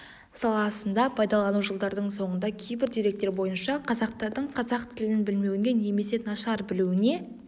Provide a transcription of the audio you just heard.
саласында пайдалану жылдардың соңында кейбір деректер бойынша қазақтардың қазақ тілін білмеуіне немесе нашар білуіне